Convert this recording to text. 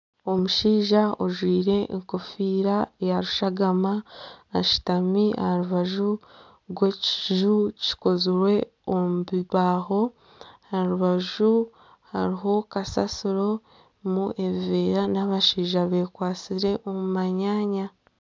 Omushaija ojwire enkofiira ya rushagama ashutami aha rubaju rw'ekiju kikozirwe omu bibaaho. Aha rubaju hariho kasasiro erimu ebiveera n'abashaija bekwasire omu manyaanya.